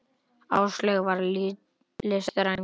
Áslaug var listræn kona.